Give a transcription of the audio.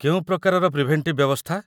କେଉଁ ପ୍ରକାରର ପ୍ରିଭେଣ୍ଟିଭ୍ ବ୍ୟବସ୍ଥା?